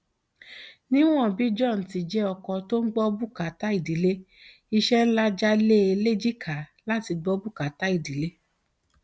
níwọn bí john ti jẹ ọkọ tó ń dá gbọ bùkátà ìdílé iṣẹ ńlá já lé e léjìká láti gbọ bùkátà ìdílé